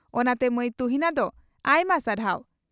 ᱚᱱᱟᱛᱮ ᱢᱟᱹᱭ ᱛᱩᱦᱤᱱᱟ ᱫᱚ ᱟᱭᱢᱟ ᱥᱟᱨᱦᱟᱣ ᱾